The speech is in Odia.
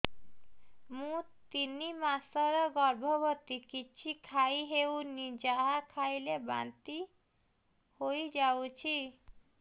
ମୁଁ ତିନି ମାସର ଗର୍ଭବତୀ କିଛି ଖାଇ ହେଉନି ଯାହା ଖାଇଲେ ବାନ୍ତି ହୋଇଯାଉଛି